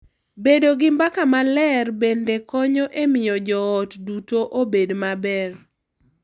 Bedo gi mbaka maler bende konyo e miyo jo ot duto obed maber.